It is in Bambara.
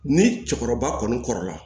Ni cɛkɔrɔba kɔni kɔrɔla